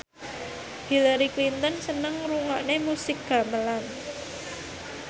Hillary Clinton seneng ngrungokne musik gamelan